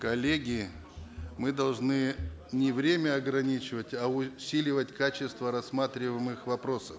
коллеги мы должны не время ограничивать а усиливать качество рассматриваемых вопросов